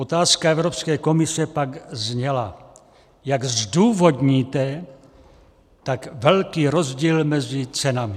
Otázka Evropské komise pak zněla: "Jak zdůvodníte tak velký rozdíl mezi cenami?"